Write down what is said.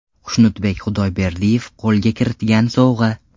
Xushnudbek Xudayberdiyev qo‘lga kiritgan sovg‘a.